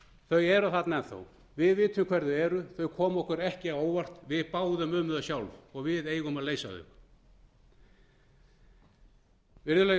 þau eru þarna enn þá við vitum hver þau eru þau komu okkur ekki á óvart við báðum um þau sjálf og við eigum að leysa þau virðulegi